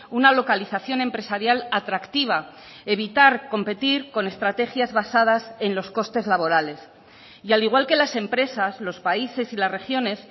una localización empresarial atractiva evitar competir con estrategias basadas en los costes laborales y al igual que las empresas los países y las regiones